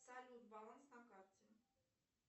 салют баланс на карте